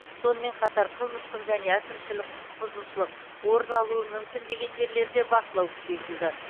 сонымен қатар қылмыстық және әкімшілік құқық бұзушылық орын алуы мүмкін деген жерлерде бақылау күшейтілді